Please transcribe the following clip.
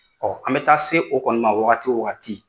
Ɔn an be taa se o kɔni ma wagati wo wagati